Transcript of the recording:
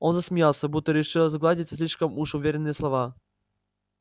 он засмеялся будто решил сгладить слишком уж уверенные слова